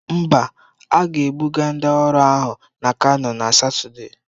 Mba, a ga-ebuga ndị ọrụ ahụ na Kanu na Satọde.